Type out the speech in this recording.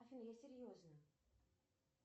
афина я серьезно